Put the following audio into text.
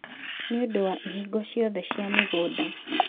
nĩ ũndũ wa ihingo ciothe cia mĩgũnda.